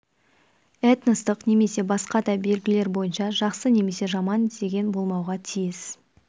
этностық немесе басқа да белгілер бойынша жақсы немесе жаман деген болмауға тиіс